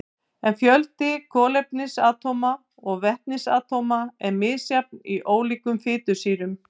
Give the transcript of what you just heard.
En fjöldi kolefnisatóma og vetnisatóma er misjafn í ólíkum fitusýrum.